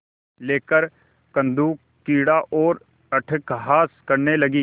लेकर कंदुकक्रीड़ा और अट्टहास करने लगी